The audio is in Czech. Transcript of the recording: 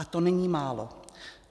A to není málo.